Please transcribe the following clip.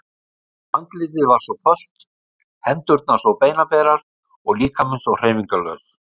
Andlitið var svo fölt, hendurnar svo beinaberar og líkaminn svo hreyfingarlaus.